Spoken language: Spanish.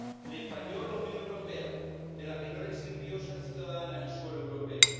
Le falló la Unión Europea, de la que no le sirvió ser ciudadana en suelo europeo.